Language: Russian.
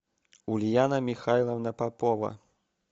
ульяна михайловна попова